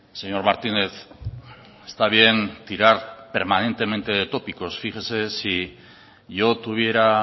señor martínez está bien tirar permanentemente de tópicos fíjese si yo tuviera